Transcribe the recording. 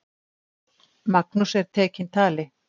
Magnús er tekinn tali.